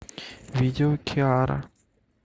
видео киара